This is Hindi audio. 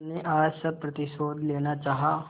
तुमने आज सब प्रतिशोध लेना चाहा